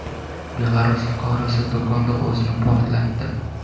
Belarus fuqarosi do‘konda o‘zini portlatdi.